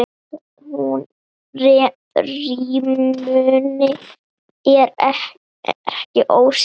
En rímunin er ekki óskyld.